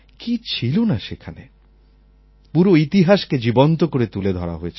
কি ছিল না সেখানে পুরো ইতিহাসকে জীবন্ত করে তুলে ধরা হয়েছে